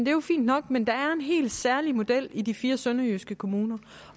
er jo fint nok men der er jo en helt særlig model i de fire sønderjyske kommuner